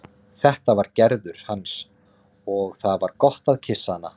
Þetta var Gerður hans og það var gott að kyssa hana.